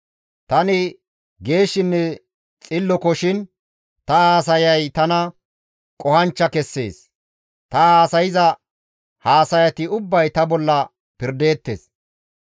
Tani geeshshinne xillokoshin ta haasayay tana qohanchcha kessees; ta haasayza haasayati ubbay ta bolla pirdeettes.